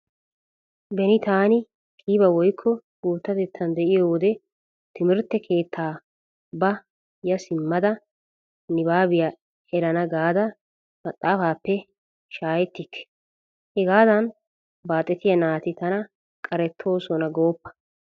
Beni taani qiiba woykko guuttatettan de'iyo wode timirtte keettaa ba ya simmada nibaabiya erana gaada mxaafaappe shaahettikke. Hegaadan baaxetiya naati tana qarettoosona gooppa.